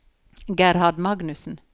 Gerhard Magnussen